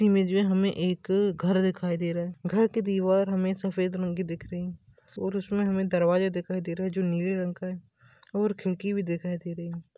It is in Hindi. इमेज में हमें एक घर दिखाई दे रहा है घर की दिवार हमें सफ़ेद रंग की दिख रही है और उसमे हमें दरवाजे दिखाई दे रहे है जो नीले रंग का है और खिड़की भी दिखाई दे रही है।